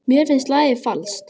Mér finnst lagið falskt.